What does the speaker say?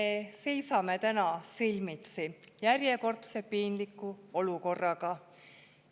Me seisame täna silmitsi järjekordse piinliku olukorraga.